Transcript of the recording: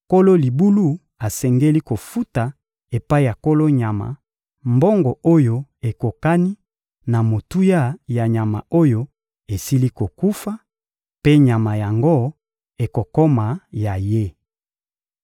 nkolo libulu asengeli kofuta epai ya nkolo nyama mbongo oyo ekokani na motuya ya nyama oyo esili kokufa, mpe nyama yango ekokoma ya ye.